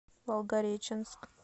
волгореченск